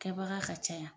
Kɛbaga ka ca yan